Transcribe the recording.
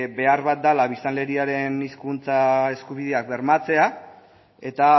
behar bat dela biztanleriaren hizkuntza eskubideak bermatzea eta